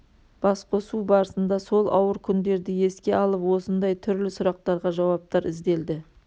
басқосу барысында сол ауыр күндерді еске алып осындай түрлі сұрақтарға жауаптар ізделді